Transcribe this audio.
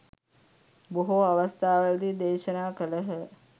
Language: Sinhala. බොහෝ අවස්ථාවලදි දේශනා කළහ.